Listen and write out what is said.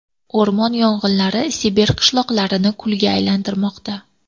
O‘rmon yong‘inlari Sibir qishloqlarini kulga aylantirmoqda.